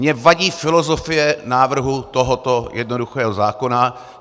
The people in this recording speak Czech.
Mně vadí filozofie návrhu tohoto jednoduchého zákona.